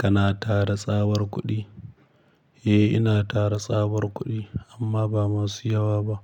Kana tara tsabar kuɗi? Eh, ina tara tsabar kuɗi amma ba masu yawa ba,